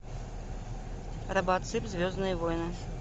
робоцып звездные войны